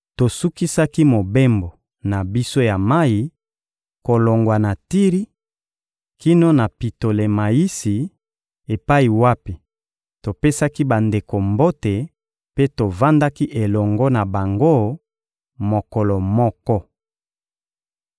Tosukisaki mobembo na biso ya mayi, kolongwa na Tiri kino na Pitolemayisi epai wapi topesaki bandeko mbote mpe tovandaki elongo na bango mokolo moko.